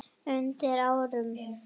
und árum.